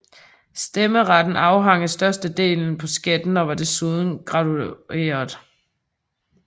Stemmeretten afhang af størrelsen på skatten og var desuden gradueret